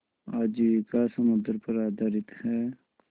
आजीविका समुद्र पर आधारित है